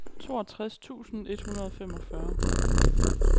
toogtres tusind et hundrede og femogfyrre